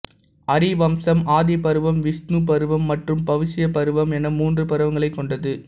ஹரி வம்சம் ஆதி பருவம் விஷ்ணு பருவம் மற்றும் பவிஷ்ய பருவம் என மூன்று பருவங்களைக் கொண்டது